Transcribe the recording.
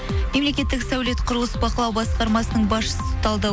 мемлекеттік сәулет құрылыс бақылау басқармасының басшысы талдау